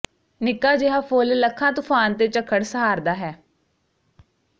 ਨਿੱਕਾ ਜਿਹਾ ਫੁੱਲ ਲੱਖਾਂ ਤੁਫਾਨ ਤੇ ਝੱਖੜ ਸਹਾਰਦਾ ਹੈ